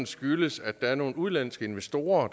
skyldes at der er nogle udenlandske investorer